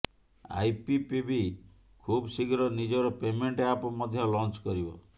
IPPB ଖୁବଶୀଘ୍ର ନିଜର payment app ମଧ୍ୟ ଲଞ୍ଚ କରିବ